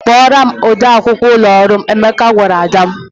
"Kpọọrọ m ode akwụkwọ ụlọ ọrụ m," Emeka gwara Ada.